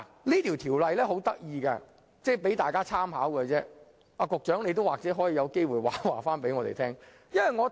這項《條例草案》有一點很有趣，可供大家參考，而局長有機會亦可回應我們。